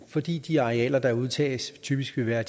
fordi de arealer der udtages typisk vil være